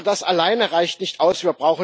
Aber das allein reicht nicht aus.